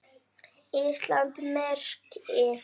Íslands merki.